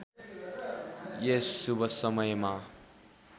यस शुभ समयमा